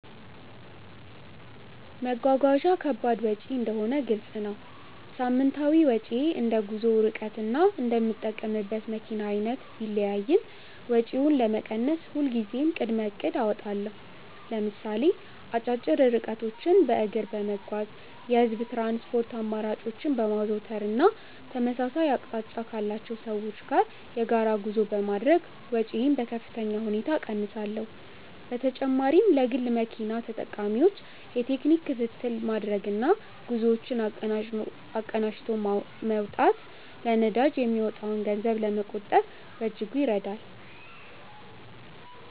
መጓጓዣ ከባድ ወጪ እንደሆነ ግልጽ ነው። ሳምንታዊ ወጪዬ እንደ ጉዞው ርቀትና እንደምጠቀምበት መኪና አይነት ቢለያይም፣ ወጪውን ለመቀነስ ሁልጊዜም ቅድመ እቅድ አወጣለሁ። ለምሳሌ አጫጭር ርቀቶችን በእግር በመጓዝ፣ የህዝብ ትራንስፖርት አማራጮችን በማዘውተር እና ተመሳሳይ አቅጣጫ ካላቸው ሰዎች ጋር የጋራ ጉዞ በማድረግ ወጪዬን በከፍተኛ ሁኔታ እቀንሳለሁ። በተጨማሪም ለግል መኪና ተጠቃሚዎች የቴክኒክ ክትትል ማድረግና ጉዞዎችን አቀናጅቶ መውጣት ለነዳጅ የሚወጣን ገንዘብ ለመቆጠብ በእጅጉ ይረዳል።